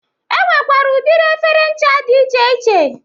E nwekwara udiri efere ncha dị iche iche.